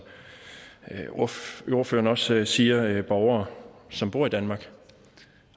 ordføreren også siger er det borgere som bor i danmark